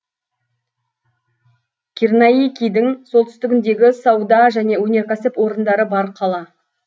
кирнаикидің солтүстігіндегі сауда және өнеркәсіп орындары бар қала